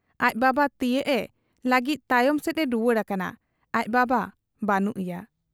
ᱟᱡ ᱵᱟᱵᱟ ᱛᱤᱭᱟᱹᱜ ᱮ ᱞᱟᱹᱜᱤᱫ ᱛᱟᱭᱚᱢ ᱥᱮᱫ ᱮ ᱨᱩᱣᱟᱹᱲ ᱟᱠᱟᱱᱟ, ᱟᱡ ᱵᱟᱵᱟ ᱵᱟᱹᱱᱩᱜ ᱮᱭᱟ ᱾